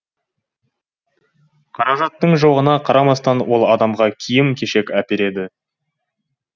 қаражаттың жоғына қарамастан ол адамға киім кешек әпереді